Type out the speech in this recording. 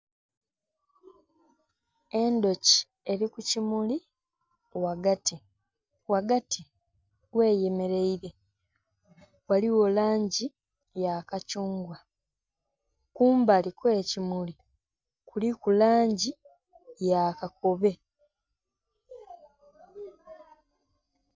Endhuki eri kukimuli ghagati, ghagati gh'eyemeraire ghaligho langi yakathungwa kumbali kwekimuli kuliku langi yakakobe.